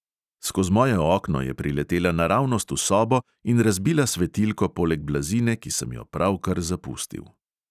Skoz moje okno je priletela naravnost v sobo in razbila svetilko poleg blazine, ki sem jo pravkar zapustil.